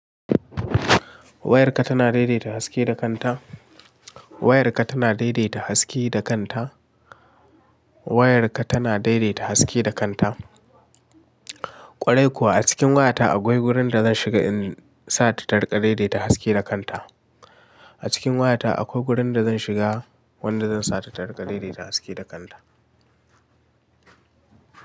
Wayarka tana daidaita haske da kanta. Wayarka tana daidaita haske da kanta. Wayarka tana daidaita haske da kanta. Kwarai kuwa a cikin wayata akwai wurin da zan shiga in sa ta tarka daidaita haske da kanta. A cikin wayata akwai gurin da zan shiga wanda zan sa ta tarika daidaita haske da kanta.